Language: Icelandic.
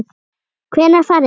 Hvenær farið þið?